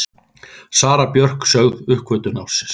Sara Björk sögð uppgötvun ársins